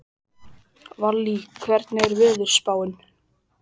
Valý, hvernig er veðurspáin?